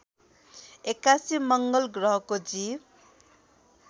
एक्कासी मङ्गलग्रहको जीव